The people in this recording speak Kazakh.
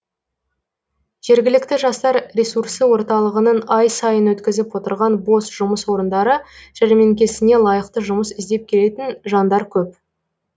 жергілікті жастар ресурсы орталығының ай сайын өткізіп отырған бос жұмыс орындары жәрмеңкесіне лайықты жұмыс іздеп келетін жандар көп